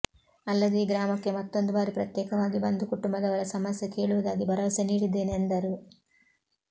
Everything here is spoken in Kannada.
ಅಲ್ಲದೆ ಈ ಗ್ರಾಮಕ್ಕೆ ಮತ್ತೊಂದು ಬಾರಿ ಪ್ರತ್ಯೇಕವಾಗಿ ಬಂದು ಕುಟುಂಬದವರ ಸಮಸ್ಯೆ ಕೇಳುವುದಾಗಿ ಭರವಸೆ ನೀಡಿದ್ದೇನೆ ಎಂದರು